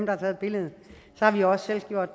har taget billedet så har vi jo også selv gjort